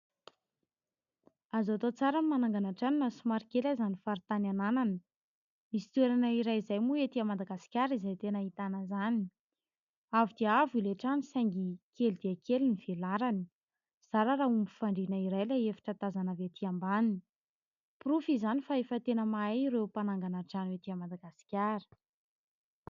Azo atao tsara ny manangana trano na somary kely aza ny faritany ananana. Misy toerana iray izay moa etỳ a Madagasikara izay tena hahitana izany. Avo dia avo ilay trano saingy ; kely dia kely ny velarany, zara ra homby fandriana iray ilay efitra tazana avy etỳ ambaniny. Porofo izany fa efa tena mahay ireo mpanangana trano etỳ a Madagasikara.